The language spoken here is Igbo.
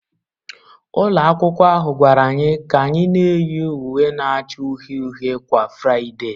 Ụlọ akwụkwọ ahụ gwara anyị ka anyị na-eyi uwe na-acha uhie uhie kwa Fraịdee